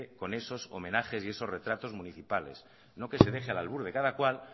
con esos homenajes y con esos retratos municipales no que se deje al albur de cada cual